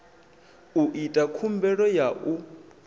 u ita khumbelo ya u